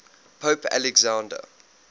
pope alexander